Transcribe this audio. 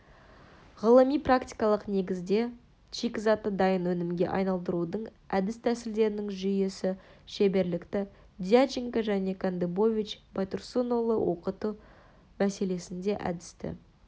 ғылыми-практикалық негізде шикізатты дайын өнімге айналдырудың әдіс-тәсілдерінің жүйесі шеберлікті дьяченко және кандыбович байтұрсынұлы оқыту мәселесінде әдісті